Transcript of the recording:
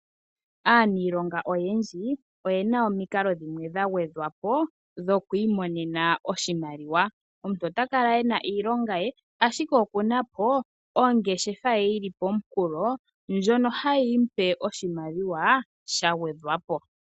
Aaniilonga oyendji oyena omikalo dhimwe dha gwedhwa po dhoku imonena oshimaliwa. Omuntu ota kala ena iilonga ye ashike okuna po ongeshefa ye yili pomunkulo ndjono hayi mu pe oshimaliwa sha gwedhwa po.